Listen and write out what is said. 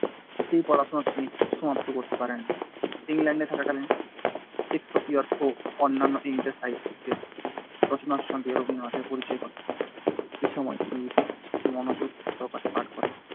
সেই পড়াশোনা তিনি সমাপ্ত করতে পারেন। ইংল্যান্ডে থাকাকালীন শেকসপিয়র ও অন্যান্য ইংরেজ সাহিত্যিকদের রচনার সঙ্গে রবীন্দ্রনাথের পরিচয় ঘটে। এই সময় তিনি বিশেষ মনোযোগ সহকারে পাঠ করেন